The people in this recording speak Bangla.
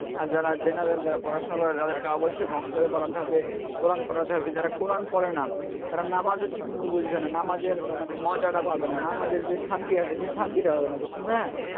আর যারা general যারা পড়াশুনা করে তাদেরকে অবশ্যই পড়াতে হবে কোরান পড়াতে হবে যারা কোরান পড়ে না তারা নামাজ ও ঠিক মতো বুঝবে না নামাজের মজা টা পাবে না নামাজের যে শান্তি টা আসে সে শান্তিটা পাবেনা বুঝছেন ভাইয়া.